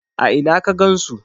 a Ina ka gansu?